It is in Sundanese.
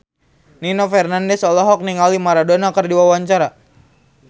Nino Fernandez olohok ningali Maradona keur diwawancara